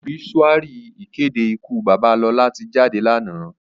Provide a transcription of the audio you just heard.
Óbisúári ìkédé ìkú baba Lola ti jádé láná.